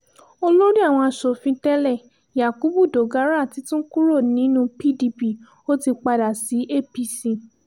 olórí àwọn asòfin tẹ́lẹ̀ yakubu dogara ti tún kúrò nínú pdp ó ti padà sí apc